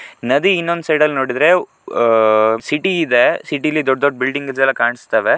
ನದಿ ಇನ್ನೊಂದ್ ಸೈಡ್ ಅಲ್ಲಿ ನೋಡಿದ್ರೆ ಹಾ ಸಿಟಿ ಇದೆ ಸಿಟಿಲಿ ದೊಡ್ಡ ದೊಡ್ಡ ಬಿಲ್ಡಿಂಗ್ಸ್ ಕಾಣ್ಸ್ತವೆ.